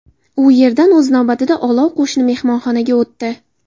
U yerdan, o‘z navbatida, olov qo‘shni mehmonxonaga o‘tdi.